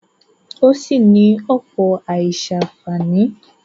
Ó sì ní ọ̀pọ̀ àìsàǹfàní.